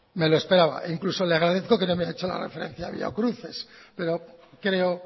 me lo esperaba e incluso le agradezco que no me haya hecho la referencia biocruces pero creo